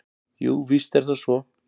Jú, víst er það svo.